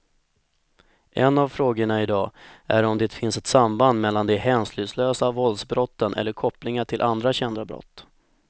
En av frågorna i dag är om det finns ett samband mellan de hänsynslösa våldsbrotten eller kopplingar till andra kända brott.